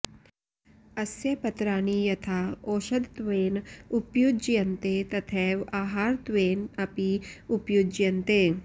अस्य पत्राणि यथा औषधत्वेन उपयुज्यन्ते तथैव आहारत्वेन अपि उपयुज्यन्ते